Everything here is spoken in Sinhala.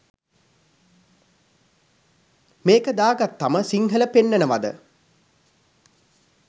මේක දාගත්තම සිංහල පෙන්නනවද?